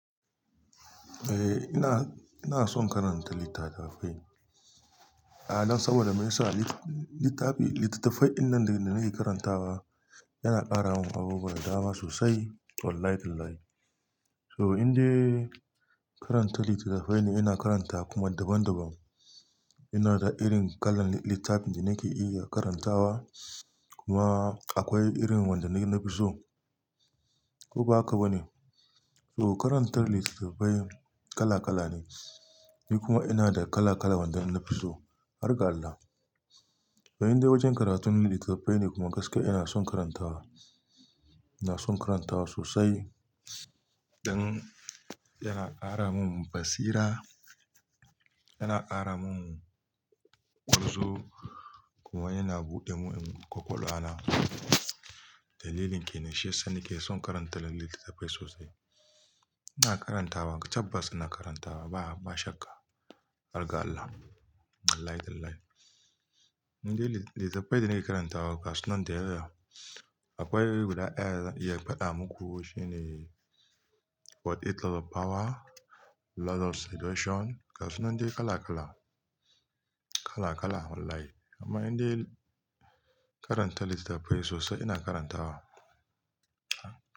Eh, ina, ina son karanta littatafai. A'a don saboda me yasa littafi, littattafai din nan da nake karantawa yana ƙara min abubuwa da dama sosai. Wallahi tallahi. So, indai karanta littattafai ne ina karanta kuma daban daban. Ina da irin kalar littafin da nake iya karantawa kuma akwai irin wanda na fi so. Ko ba haka ba ne? So karantar littattafai kala kala ne, ni kuma ina da kala kala wanda na fi so. Har ga Allah. Bayan dai wajen karatun littattafai ne kuma gaskiya ina son karantawa, ina son karantawa sosai don yana ƙara mun basira, yana ƙara mun kunzu kuma yana bu demun kwakwalwa na. Dalilin kena shiya sani ke son karanta littattafai sosai. Ina karantawa, tabbas ina karantawa ba, ba shakka. Algaita. Wallahi billahi. Indai littattafai da nake karantawa gasu nan da yaya. Akwai guda daya dazan iya faɗa muku shine what is law of power, law of seduction gasu nan dai kala kala. Kala kala wallahi. Amma inda karanta littattafai sosai ina karantawa.